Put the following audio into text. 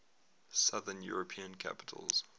southern european capitals